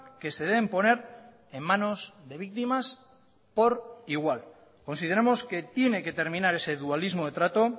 que se deben poner en manos de víctimas por igual consideramos que tiene que terminar ese dualismo de trato